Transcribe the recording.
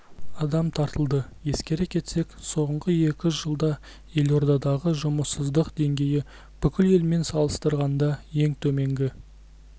адам тартылды ескере кетсек соңғы екі жылда елордадағы жұмыссыздық деңгейі бүкіл елмен салыстырғанда ең төменгі